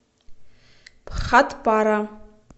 бхатпара